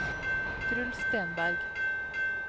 Truls Stenberg